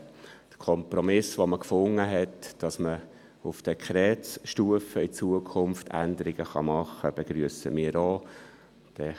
Der Kompromiss, den man gefunden hat – dass man in Zukunft auf Dekretsstufe Änderungen machen kann – begrüssen wir auch.